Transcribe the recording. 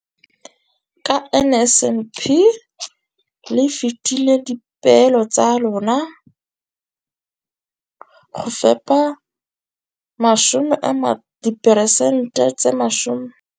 Ka NSNP le fetile dipeelo tsa lona tsa go fepa masome a supa le botlhano a diperesente ya barutwana ba mo nageng.